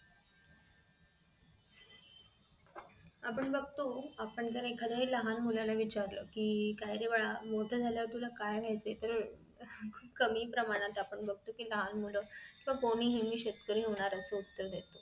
आपण बघतो आपण जर एखाद्या लहान मुलाला विचारलं कि काय रे बाळा मोठं झाल्यावर तुला काय व्हायचं आहे तर कमी प्रमाणात आपण बघतो कि लहान मुलं मी शेतकरी होणार होणार असं उत्तर